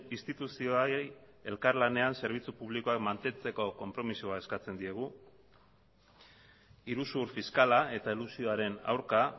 instituzioei elkarlanean zerbitzu publikoak mantentzeko konpromisoa eskatzen diogu iruzur fiskala eta elusioaren aurka